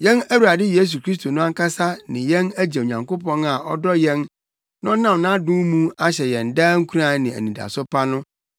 Yɛn Awurade Yesu Kristo no ankasa ne yɛn Agya Onyankopɔn a ɔdɔ yɛn na ɔnam nʼadom mu ahyɛ yɛn daa nkuran ne anidaso pa no,